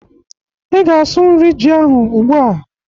Ị ga-asụ nri ji ahụ ugbụ a!